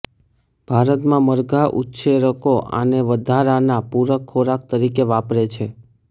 ભારતમાં મરઘા ઉછેરકો આને વધારાના પૂરક ખોરાક તરીકે વાપરે છે